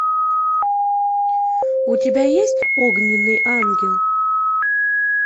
у тебя есть огненный ангел